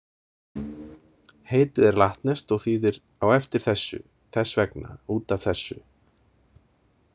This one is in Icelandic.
Heitið er latneskt og þýðir „á eftir þessu, þess vegna út af þessu“.